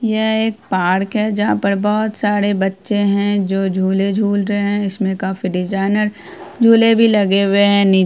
यह एक पार्क है जहां पर बोहत सारे बच्चे है जो झूले झूल रहे है इसमे काफी डिजाइनर झूले भी लगे हुए है नि --